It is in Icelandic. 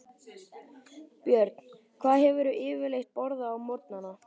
Björn: Hvað hefurðu yfirleitt borðað á morgnanna?